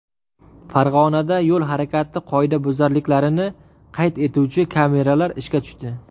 Farg‘onada yo‘l harakati qoidabuzarliklarini qayd etuvchi kameralar ishga tushdi.